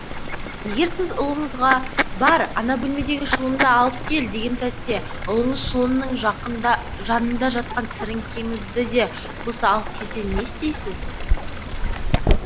егер сіз ұлыңызға бар ана бөлмедегі шылымды алып кел деген сәтте ұлыңыз шылымның жақында жанында жатқан сіріңкеңізді де қоса алып келсе не істейсіз